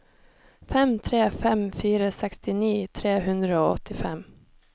fem tre fem fire sekstini tre hundre og åttifem